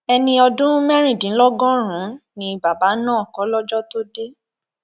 ẹni ọdún mẹrìndínlọgọrùnún ni bàbá náà kólọjọ tóo dé